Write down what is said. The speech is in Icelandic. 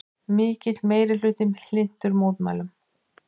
Mikill meirihluti hlynntur mótmælum